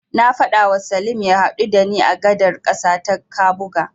Na faɗawa Salim ya haɗu da ni a gadar ƙasa ta Kabuga.